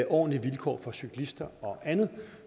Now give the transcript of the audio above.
ordentlige vilkår for cyklister og andet